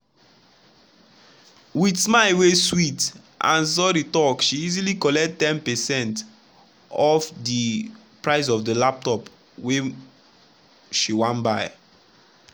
with smile wey sweet and sorry talk she easily collect ten percent off di price of di laptop wey laptop wey she wan buy.